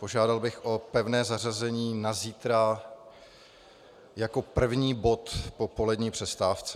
Požádal bych o pevné zařazení na zítra jako první bod po polední přestávce.